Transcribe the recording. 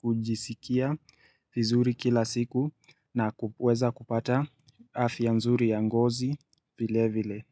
kujisikia fizuri kila siku na kuweza kupata afya nzuri ya ngozi vile vile.